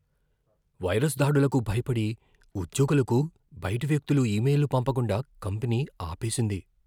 Virus దాడులకు భయపడి ఉద్యోగులకు బయటి వ్యక్తులు ఇమెయిల్లు పంపకుండా కంపెనీ ఆపేసింది.